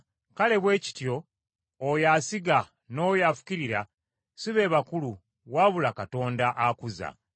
Kale bwe kityo oyo asiga n’oyo afukirira si be bakulu wabula Katonda akuza.